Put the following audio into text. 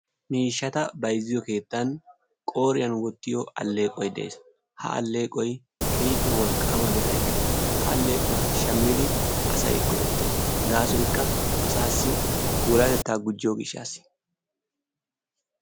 Miishshata bayzziyo keettan qooriyaan wottiyo aleeqoy de'ees. Ha aleeqoy keehippe wolqqama bira ekees. Ha aleequwaa shammidi asay go"ettees. Gaassoykka asaassi puulatetta gujjiyo gishshas.